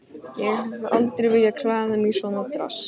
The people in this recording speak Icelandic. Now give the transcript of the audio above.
Ég hef aldrei viljað klæða mig í svona dress.